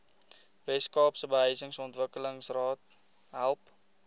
weskaapse behuisingsontwikkelingsraad help